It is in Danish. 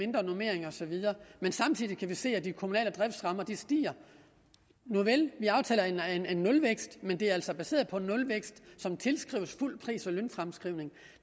normering og så videre men samtidig kan vi se at de kommunale driftsrammer stiger nuvel vi aftaler en nulvækst men aftalen er altså baseret på en nulvækst som tilskrives fuld pris og lønfremskrivning